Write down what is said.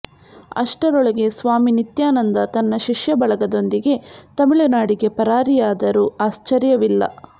ಅಷ್ಟರೊಳಗೆ ಸ್ವಾಮಿ ನಿತ್ಯಾನಂದ ತನ್ನ ಶಿಷ್ಯ ಬಳಗದೊಂದಿಗೆ ತಮಿಳುನಾಡಿಗೆ ಪರಾರಿಯಾದರೂ ಆಶ್ಚರ್ಯವಿಲ್ಲ